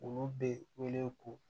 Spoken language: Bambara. Olu bɛ wele ko